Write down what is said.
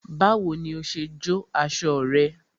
Báwo ni o ṣe jó aṣọ rẹ?